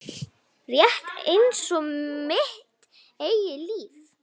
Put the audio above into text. Rétt einsog mitt eigið líf.